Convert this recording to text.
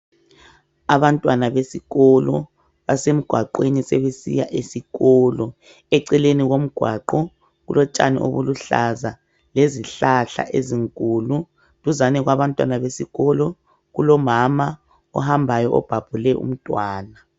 Abantwana besikolo basemgwaqweni sebesiya esikolo. Eceleni komgwaqo kulotshani obuluhlaza lezihlahla ezinkulu. Duzane kwabantwana besikolo kulomama ohambayo obhabhule umntwana.